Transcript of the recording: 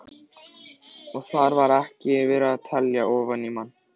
Og þar var ekki verið að telja ofan í mann.